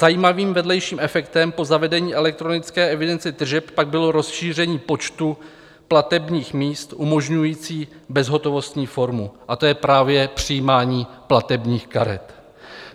Zajímavým vedlejším efektem po zavedení elektronické evidence tržeb pak bylo rozšíření počtu platebních míst umožňujících bezhotovostní formu, a to je právě přijímání platebních karet.